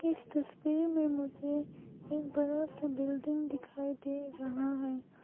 इस तस्वीर में मुझे एक बड़ा सा बिल्डिंग दिखाई दे रहा है।